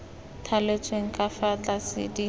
thaletsweng ka fa tlase di